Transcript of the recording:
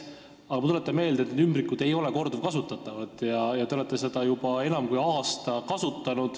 " Aga ma tuletan meelde, et need ümbrikud ei ole korduvkasutatavad, kuid teie olete esimest ümbrikku kasutanud juba enam kui aasta.